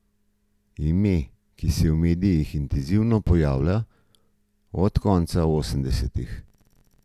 Ime, ki se v medijih intenzivno pojavlja od konca osemdesetih.